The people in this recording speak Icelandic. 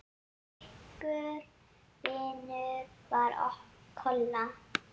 Slíkur vinur var Kolla.